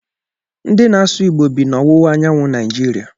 Ndi na-asụ Igbo bi n'ọwụwa anyawụ Naijirịa